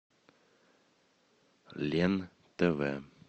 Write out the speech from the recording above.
лен тв